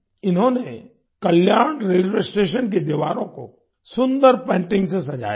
इन्होंने Kalyan railway station की दीवारों को सुन्दर पेंटिंग्स से सजाया है